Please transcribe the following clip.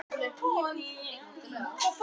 Hún var á öðru máli.